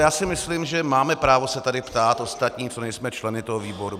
Já si myslím, že máme právo se tady ptát, ostatní, co nejsme členy toho výboru.